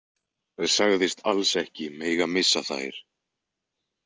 Sagðist alls ekki mega missa þær.